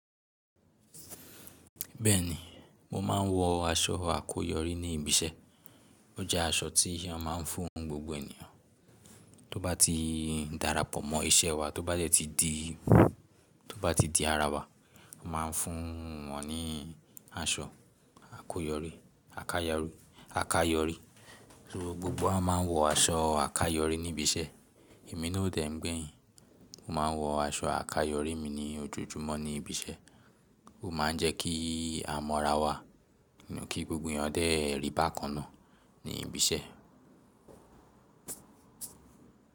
Bẹ́ẹ̀ni, mo máa ń wọ aṣọ àkoyọ̀rí ní ibi iṣẹ́. Ó jẹ́ aṣọ tí a máa ń fún gbogbo ènìyàn tó bá ti darapọ̀ mọ iṣẹ́ wa, tó bá dẹ́ ti di, tó bá ti di ara wa, a máa ń fún wọn ní aṣọ àkoyọ̀rí, àkáyọ̀rí. So gbogbo wa máa ń wọ aṣọ àkáyọ̀rí ní ibi iṣẹ́. Èmi náà o dẹ̀ n gbẹ́yín, mo máa ń wọ aṣọ àkáyọ̀rí mi ní ojoojúmọ́ ní ibi iṣẹ́. Ó máa ń jẹ́ kí a mó ara wa, kí gbogbo ènìyàn dé rí bákan náà ní ibi iṣẹ́.